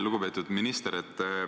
Lugupeetud minister!